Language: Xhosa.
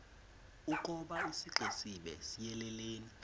ukoba isixesibe siyelelene